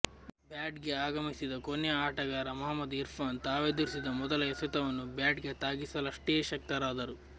batting ಗೆ ಆಗಮಿಸಿದ ಕೊನೆಯ ಆಟಗಾರ ಮಹಮದ್ ಇರ್ಫಾನ್ ತಾವೆದುರಿಸಿದ ಮೊದಲ ಎಸೆತವನ್ನು ಬ್ಯಾಟ್ಗೆ ತಾಗಿಸಲಷ್ಟೇ ಶಕ್ತರಾದರು